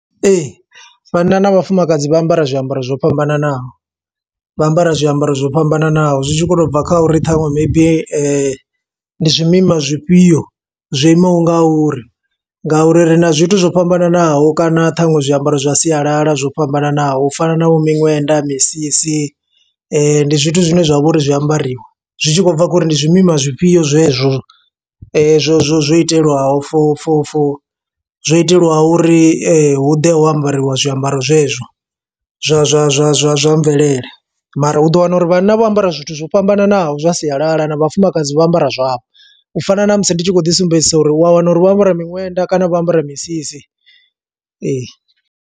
Ee, vhanna na vhafumakadzi vha ambara zwiambaro zwo fhambananaho, vha ambara zwiambaro zwo fhambananaho. Zwi tshi kho to bva kha uri ṱhanwe maybe ndi zwimima zwifhio, zwo imaho nga uri. Nga uri ri na zwithu zwo fhambananaho kana ṱhaṅwe zwiambaro zwa sialala zwo fhambananaho, u fana na vho miṅwenda, misisi. Ndi zwithu zwine zwa vha uri zwi a ambariwa, zwi tshi khou bva kho uri ndi zwimima zwifhio zwe zwo. Zwo zwo zwo itelwaho fo fo fo zwo iteliwaho uri hu ḓe ho ambariwa zwiambaro zwezwo, zwa zwa zwa zwa zwa mvelele, Mara u ḓo wana uri vhanna vho ambara zwithu zwo fhambananaho zwa sialala, na vhafumakadzi vha ambara zwavho. U fana na musi ndi tshi khou ḓisumbedzisa uri u a wana uri vho ambara miṅwenda, kana vho ambara misisi, ee.